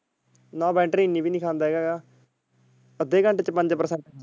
ਨਾ battery ਨੀ ਪਸੰਦ ਹੇਗਾ ਯਰ ਆਡੇ ਘੰਟੇ ਚ ਪੰਜ percent.